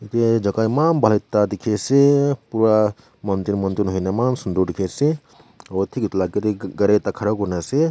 yete chaka eman bhal ekta dekhi aseee pura mountain mountain hoina eman sundur tekhi ase aro tek etu laga gar gari ekta khara kurina ase.